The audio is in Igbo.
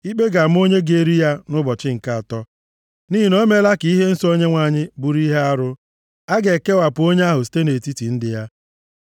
Ikpe ga-ama onye ga-eri ya nʼụbọchị nke atọ nʼihi na o meela ka ihe nsọ Onyenwe anyị bụrụ ihe arụ. A ga-ekewapụ onye ahụ site nʼetiti ndị ya.